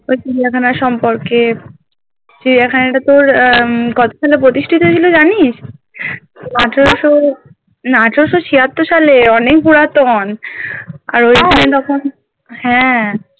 ওই চিড়িয়াখানা সম্পর্কে চিড়িয়াখানাটা তোর আহ কত সালে প্রতিষ্ঠিত হয়েছিল জানিস আঠারোশো না আঠারশো ছিয়াওর সালে অনেক পুরাতন আর ঐখানে তখন হ্যাঁ